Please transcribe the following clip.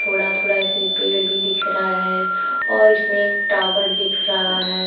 थोड़ा थोड़ा इसमें पेड़ भी दिख रहा है और इसमें एक टावर दिख रहा है।